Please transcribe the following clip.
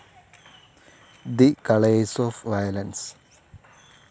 the colours of violence